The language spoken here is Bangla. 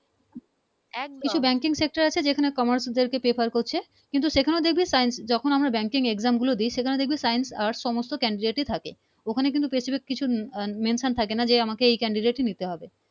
কিছু Banking sector আছে সেখানে Commerce দের prefer করছে কিন্তু সেখানেও দেখবি sience যখন banking exam গুলো দেই সেখানে দেখবি Science arts সমস্ত candidate থাকে ওখানে কিন্তু specific কিছু mention থাকে না যে আমাকে এই candidate নিতে হবে